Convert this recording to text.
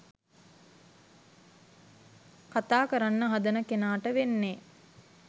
කතා කරන්න හදන කෙනාට වෙන්නේ